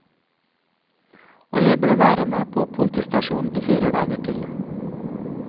Og jeg ble værende på politistasjonen i fire dager til.